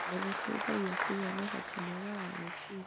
nĩ gũteithagia kũgĩa na ũhoti mwega wa gwĩciria.